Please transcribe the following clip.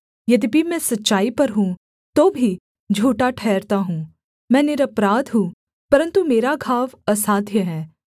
यद्यपि मैं सच्चाई पर हूँ तो भी झूठा ठहरता हूँ मैं निरपराध हूँ परन्तु मेरा घाव असाध्य है